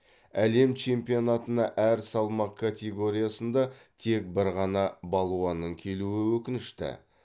әлем чемпионатына әр салмақ категориясында тек бір ғана балуанның келуі өкінішті